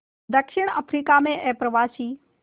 दक्षिण अफ्रीका में अप्रवासी